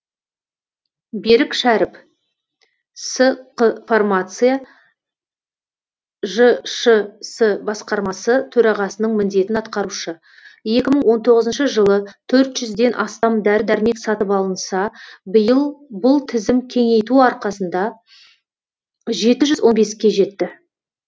берік шәріп сқ фармация жшс басқармасы төрағасының міндетін атқарушы екі мың он тоғызыншы жылы төрт жүзден астам дәрі дәрмек сатып алынса биыл бұл тізім кеңейту арқасында жеті жүз он беске жетті